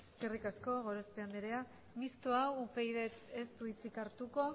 eskerrik asko gorospe andrea mistoa upyd taldeak ez du hitzik hartuko